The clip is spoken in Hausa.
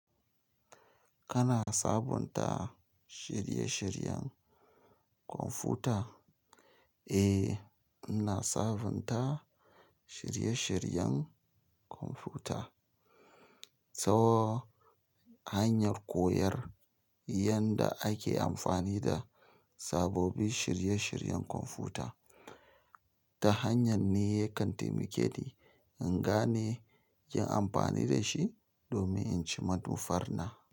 Kana sabunta shirye-shiryen kwamfuta? Eh, ina sabunta shirye-shiryen kwamfuta so hanyar koyar yadda ake amfani da sabobin shirye-shiryen kwamfuta. Ta hanyar ne kan taimake ni in gane yi amfani da shi domin in ci manufar na.